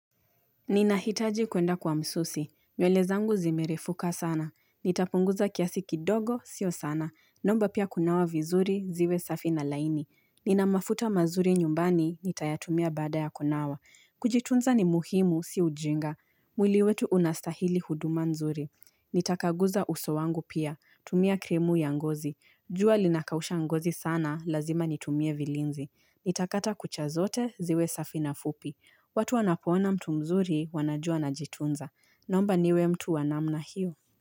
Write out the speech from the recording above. Ninahitaji kwenda kwa msusi. Nywele zangu zimerefuka sana. Nitapunguza kiasi kidogo, sio sana. Nomba pia kunawa vizuri, ziwe safi na laini. Ninamafuta mazuri nyumbani, nitayatumia bada ya kunawa. Kujitunza ni muhimu, si ujinga. Mwili wetu unastahili huduma nzuri. Nitakaguza uso wangu pia. Tumia kremu ya ngozi. Jua linakausha ngozi sana, lazima nitumie vilinzi. Nitakata kucha zote, ziwe safi na fupi. Watu wanapoona mtu mzuri, wanajua ana jitunza. Nomba niwe mtu wanamna hiyo.